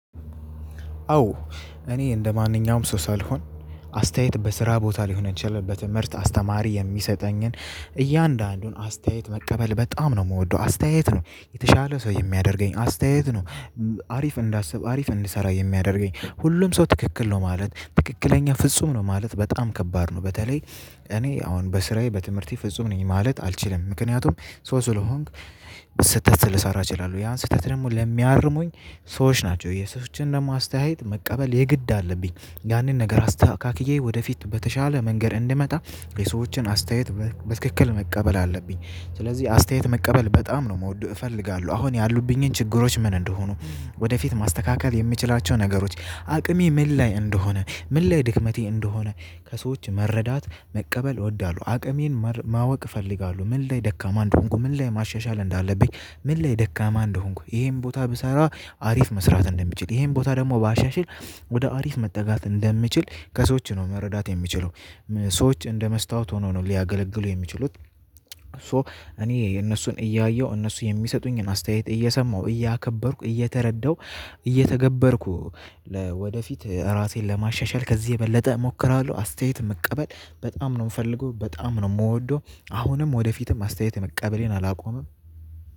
አዎ እኔ እንደማንኛውም ሰው ሳልሆን አስተያየት በስራ ቦታ ሊሆን የቻለበት ምርት አስተማሪ የሚሰጠኝን እያንዳንዱን አስተያየት መቀበል በጣም ነው የምወደው አስተያየት ነው የተሻለ ሰው የሚያደርገኝ አስተያየት ነው። አሪፍ እንዳስብ አሪፍ እንድሰራ የሚያደርገኝ ሁሉም ሰው ትክክል ነው ማለት ትክክለኛ ፍጹም ነው ማለት በጣም ከባድ ነው። በተለይ እኔ አሁን በስራዬ በትምህርቴ ፍጹም ነኝ ማለት አልችልም። ምክንያቱም ሶ ስለሆንክ ስህተት ልሰራ እችላለሁ ያን ስህተት ደግሞ ለሚያርሙኝ ሰዎች ናቸው። የሰዎችን ደግሞ አስተያየት መቀበል የግድ አለብኝ ያንን ነገር አስተካክዬ ወደፊት በተሻለ መንገድ እንድመጣ የሰዎችን አስተያየት በትክክል መቀበል አለብኝ። ስለዚህ አስተያየት መቀበል በጣም ነው የምወደው። እፈልጋለሁ አሁን ያሉብኝን ችግሮች ምን እንደሆኑ ወደፊት ማስተካከል የምችላቸው ነገሮች አቅሜ ምን ላይ እንደሆነ ምን ላይ ድክመቴ እንደሆነ ከሰዎች መረዳት መቀበል እወዳለሁ። አቅሜን ማወቅ እፈልጋለሁ ምን ላይ ደካማ እንደሆንኩ ምን ላይ ማሻሻል እንዳለብኝ ምን ላይ ደካማ እንደሆንኩ ይሄን ቦታ ብሰራ አሪፍ መስራት እንደሚችል ይሄን ቦታ ደግሞ ባሻሽል ወደ አሪፍ መጠጋት እንደምችል ከሰዎች ነው መረዳት የምችለው። ሰዎች እንደ መስታወት ሆኖ ነው ሊያገለግሉ የሚችሉት። ሶ እኔ የነሱን እያየሁ እነሱ የሚሰጡኝን አስተያየት እየሰማሁ እያከበርኩ እየተረዳሁ እየተገበርኩ ወደፊት ራሴን ለማሻሻል ከዚህ የበለጠ እሞክራለሁ። አስተያየት መቀበል በጣም ነው የምፈልገው በጣም ነው የምወደው። አሁንም ወደፊትም አስተያየት መቀበሌን አላቆምም።